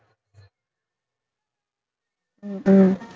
உம்